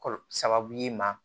Kɔlɔ sababu ye ma